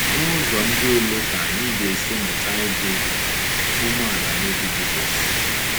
N’ụzọ ndị olee ka anyị ga-esi mụta ịdị umeala n’obi Jisọs?